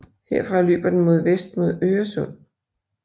Herfra løber den mod vest mod Øresund